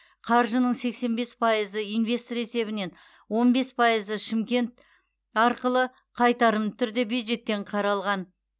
қаржының сексен бес пайызы инвестор есебінен он бес пайызы шымкент арқылы қайтарымды түрде бюджеттен қаралған